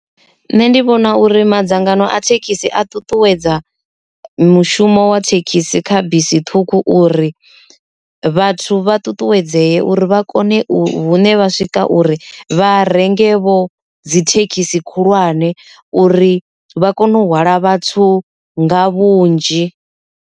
Nṋe ndi vhona uri madzangano a thekhisi a ṱuṱuwedza mushumo wa thekhisi kha bisi ṱhukhu uri vhathu vha ṱuṱuwedzee uri vha kone u vhune vha swika uri vha renge vho dzi thekhisi khulwane uri vha kone u hwala vhathu nga vhunzhi.